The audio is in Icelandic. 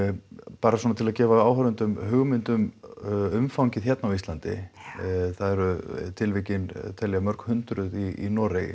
bara svona til að gefa áhorfendum hugmynd um umfangið hérna á Íslandi tilvikin telja mörghundruð í Noregi